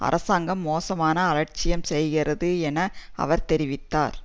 அரசாங்கம் மோசமாக அலட்சியம் செய்கின்றது என அவர் தெரிவித்தார்